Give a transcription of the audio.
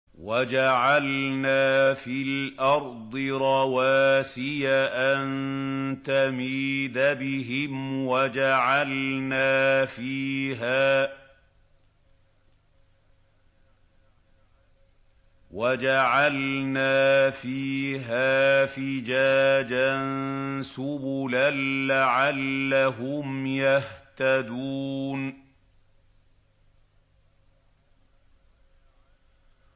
وَجَعَلْنَا فِي الْأَرْضِ رَوَاسِيَ أَن تَمِيدَ بِهِمْ وَجَعَلْنَا فِيهَا فِجَاجًا سُبُلًا لَّعَلَّهُمْ يَهْتَدُونَ